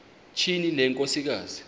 tyhini le nkosikazi